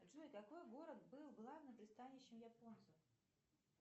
джой какой город был главным пристанищем японцев